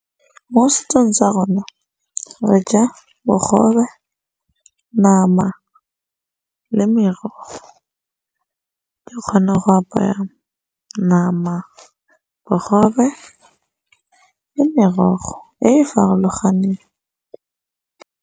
Mo setsong tsa rona re ja bogobe, nama le merogo. Ke kgona go apaya nama, bogobe le merogo e e farologaneng.